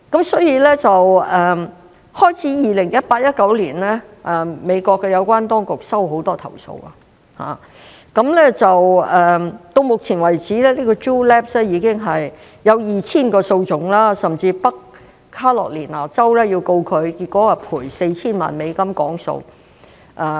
所以，美國有關當局自2018年至2019年開始接到很多投訴，直到目前為止 Juul Labs 已經有 2,000 宗訴訟，甚至北卡羅萊納州也要告它，最終賠償 4,000 萬美元和解。